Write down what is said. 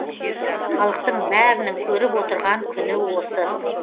халықтың бәрінің көріп отырған күні осы